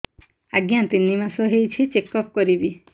ଆଜ୍ଞା ତିନି ମାସ ହେଇଛି ଚେକ ଅପ କରିବି